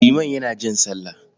Liman yana jan sallah.